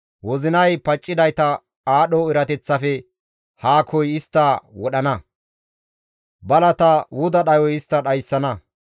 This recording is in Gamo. Wozinay paccidayta aadho erateththafe haakoy istta wodhana; balata wuda dhayoy istta dhayssana.